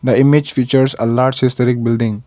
the image features a large historic building.